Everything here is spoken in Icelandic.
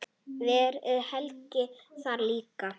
Verður Helgi þar líka?